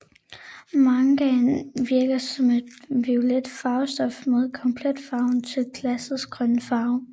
Mangan virker som et violet farvestof med komplementærfarven til glassets grønne farve